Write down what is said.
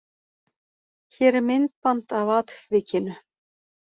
Hér er myndband af atvikinu.